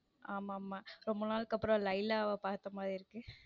ஆமா ஆமா ரொம்ப நாள்கு அப்பரம் லைலாவ பாத்த மாரி இருக்கு.